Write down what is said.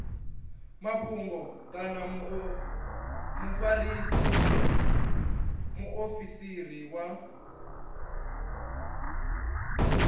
mafhungo kana mufarisa muofisiri wa